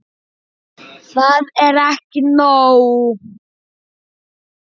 Það er ekki nóg.